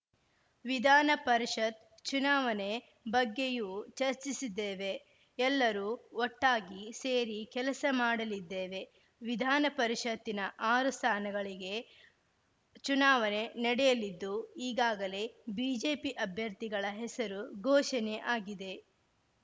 ವಿಧಾನ ಪರಿಷತ್‌ ಚುನಾವಣೆ ಬಗ್ಗೆಯೂ ಚರ್ಚಿಸಿದ್ದೇವೆ ಎಲ್ಲರೂ ಒಟ್ಟಾಗಿ ಸೇರಿ ಕೆಲಸ ಮಾಡಲಿದ್ದೇವೆ ವಿಧಾನ ಪರಿಷತ್‌ನ ಆರು ಸ್ಥಾನಗಳಿಗೆ ಚುನಾವಣೆ ನಡೆಯಲಿದ್ದು ಈಗಾಗಲೇ ಬಿಜೆಪಿ ಅಭ್ಯರ್ಥಿಗಳ ಹೆಸರು ಘೋಷಣೆ ಆಗಿದೆ